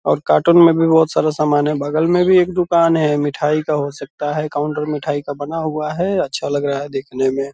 और कार्टून में भी बहुत सारा समान है बगल में भी एक दुकान है मिठाई का हो सकता है काउंटर मिठाई का बना हुआ है अच्छा लग रहा है देखने में।